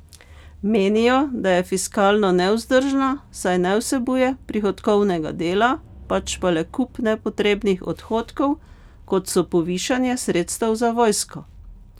Menijo, da je fiskalno nevzdržna, saj ne vsebuje prihodkovnega dela, pač pa le kup nepotrebnih odhodkov, kot so povišanje sredstev za vojsko.